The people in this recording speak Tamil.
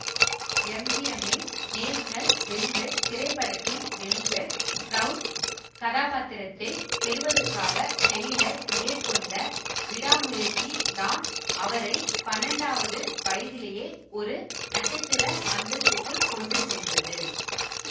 எம்ஜிஎம்மின் நேஷனல் வெல்வெட் திரைப்படத்தின் வெல்வெட் ப்ரௌன் கதாபாத்திரத்தைப் பெறுவதற்காக டெய்லர் மேற்கொண்ட விடாமுயற்சி தான் அவரை பன்னெண்டாவது வயதிலேயே ஒரு நட்சத்திர அந்தஸ்திற்குக் கொண்டுசென்றது